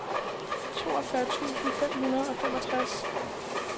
toogfyrre tusind fem hundrede og femogtres